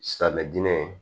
Silamɛmɛ dinɛ ye